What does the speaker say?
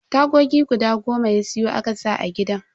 Tagogi guda goma ya siyo a saka a gidan.